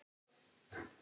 Búið